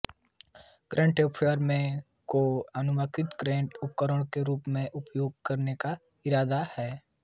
current transformer को आनुपातिक current उपकरणों के रूप में उपयोग करने का इरादा है